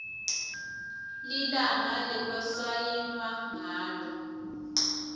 lilanga lekwasayinwa ngalo